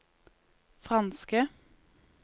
franske